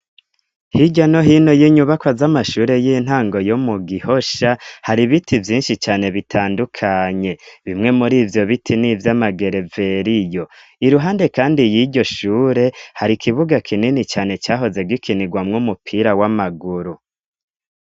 Hirya no hino y'inyubakwa z'amashure y'intango yomu Gihosha, har'ibiti vyinshi cane bitandukanye, bimwe mur'ivyo biti nivy'amagereveriyo, iruhande kandi y'iryo shure har'ikibuga kinini cane cahoze gikinigwamw 'umupira w'amaguru.